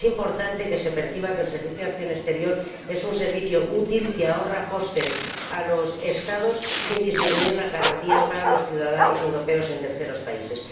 Es importante que se perciba que el Servicio Europeo de Acción Exterior es un servicio útil que ahorra costes a los Estados sin disminuir las garantías para los ciudadanos europeos en terceros países.